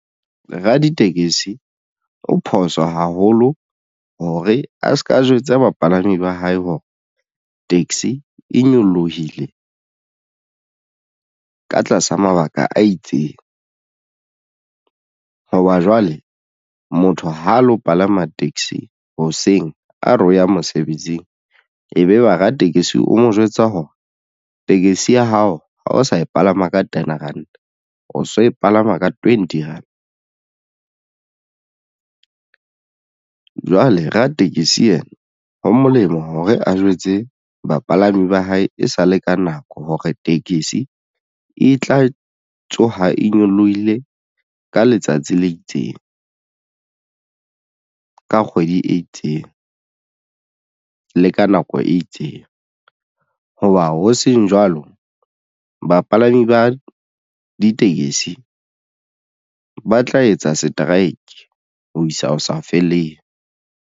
Raditekesi o phoso haholo hore a se ka jwetsa bapalami ba hae hore taxi e nyolohile ka tlasa mabaka a itseng hoba jwale motho ha lo palama taxi hoseng. A re o ya mosebetsing ebe ba ratekesi o mo jwetsa hore tekesi ya hao ha o sa e palama ka ten rand o so e palama ka twenty rand . Jwale ratekesi ena ho molemo hore a jwetse bapalami ba hae e sale ka nako hore tekesi e tla tsoha e nyolohile ka letsatsi le itseng ka kgwedi e itseng le ka nako e itseng. Hoba ho seng jwalo bapalami ba ditekesi ba tla etsa strike ho isa ho sa feleng.